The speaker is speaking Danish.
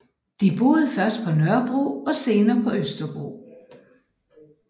De boede først på Nørrebro og senere på Østerbro